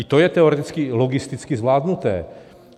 I to je teoreticky logisticky zvládnuté.